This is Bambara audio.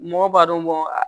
Mɔgɔw b'a dɔn